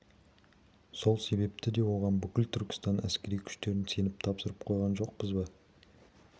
сол себепті де оған бүкіл түркістан әскери күштерін сеніп тапсырып қойған жоқпыз ба